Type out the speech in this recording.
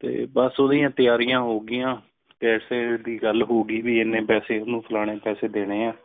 ਤੇ ਬਸ ਓਦੀਆਂ ਤਿਆਰੀਆ ਹੋਗੀਆ ਤੇ ਗੱਲ ਹੋ ਗਈ ਵੀ ਇੰਨੇ ਪੈਸੇ ਇਹਨੂੰ ਫਲਾਣੇ ਪੈਸੇ ਦੇਣੇ ਹੈ